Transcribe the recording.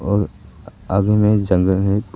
और आगे में जंगल है।